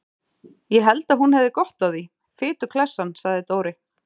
Ég held að hún hefði gott af því, fituklessan sagði Dóri.